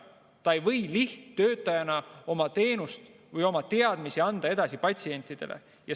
Ta ei või lihttöötajana oma teadmisi patsientidele edasi anda.